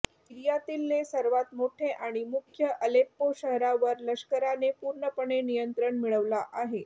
सीरियातीलले सर्वात मोठे आणि मुख्य अल्लेप्पो शहरावर लष्कराने पूर्णपणे नियंत्रण मिळवला आहे